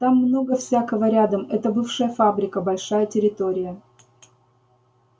там много всякого рядом это бывшая фабрика большая территория